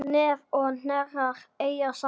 Nef og hnerrar eiga saman.